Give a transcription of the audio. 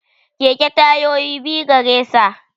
Keke ma tayoyi biyu garesa